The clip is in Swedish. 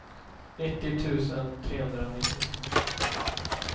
nittio tusen trehundranittio